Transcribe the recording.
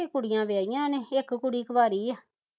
ਕੁੜੀਆਂ ਵਿਆਹੀਆਂ ਨੇ ਇਕ ਕੁੜੀ ਕੁਆਰੀ ਆ